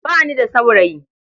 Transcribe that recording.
Ba ni da saurayi.